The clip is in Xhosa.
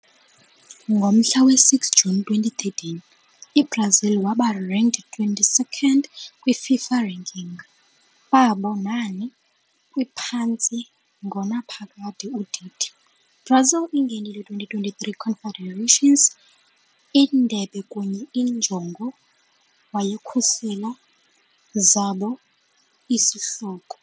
Ngomhla we-6 juni 2013, i-Brazil waba ranked 22nd kwi-FIFA ranking, babo nani liphantsi-ngonaphakade udidi. - Brazil ingenile 2013 Confederations Indebe kunye injongo wayekhusela zabo isihloko.